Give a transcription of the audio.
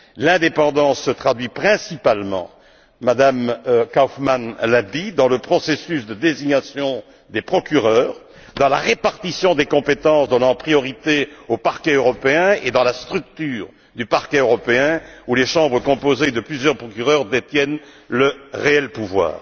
L'indépendance se traduit principalement Mme Kaufmann l'a dit dans le processus de désignation des procureurs, dans la répartition des compétences donnant priorité au Parquet européen et dans sa structure, où les chambres composées de plusieurs procureurs détiennent le réel pouvoir.